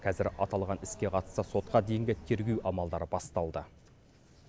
қазір аталған іске қатысты сотқа дейінгі тергеу амалдары басталды